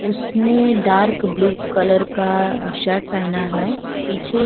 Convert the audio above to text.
उसने dark blue colour का shirt पहना हुआ है। पीछे --